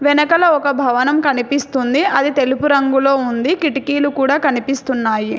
ఎనకల ఒక భవనం కనిపిస్తుంది అది తెలుపు రంగులో ఉంది కిటికీలు కూడా కనిపిస్తున్నాయి.